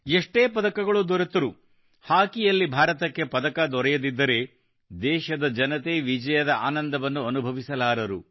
ಎಷ್ಟೇ ಪದಕಗಳು ದೊರೆತರೂ ಹಾಕಿಯಲ್ಲಿ ಭಾರತಕ್ಕೆ ಪದಕ ದೊರೆಯದಿದ್ದರೆ ದೇಶದ ಜನತೆ ವಿಜಯದ ಆನಂದವನ್ನು ಅನುಭವಿಸಲಾರರು